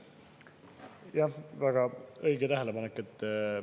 Jah, väga õige tähelepanek!